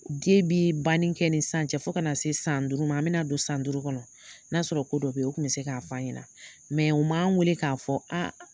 baani kɛ ni san cɛ fo ka na se san duuru ma, a mɛna don san duuru kɔnɔ, n'a sɔrɔ ko dɔ be yen, u kun mi se k'a f'a ɲɛna u man wele k'a fɔ